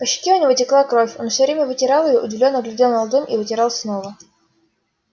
по щеке у него текла кровь он все время вытирал её удивлённо глядел на ладонь и вытирал снова